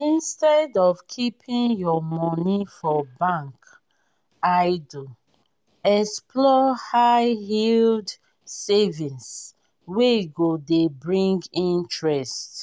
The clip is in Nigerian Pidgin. instead of keeping your money for bank idle explore high yield savings wey go dey bring interest